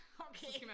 Okay